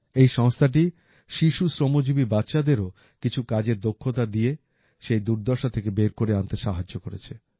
এই সংস্থাটি শিশু শ্রমজীবী বাচ্চাদেরও কিছু কাজের দক্ষতা দিয়ে সেই দুর্দশা থেকে বের করে আনতে সাহায্য করেছে